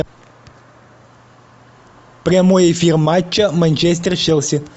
прямой эфир матча манчестер челси